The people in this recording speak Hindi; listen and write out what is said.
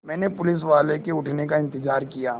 मैंने पुलिसवाले के उठने का इन्तज़ार किया